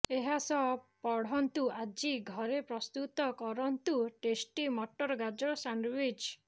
ଏହାସହ ପଢନ୍ତୁ ଆଜି ଘରେ ପ୍ରସ୍ତୁତ କରନ୍ତୁ ଟେଷ୍ଟି ମଟର ଗାଜର ସାଣ୍ଡଓ୍ବିଚ୍